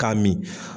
K'a min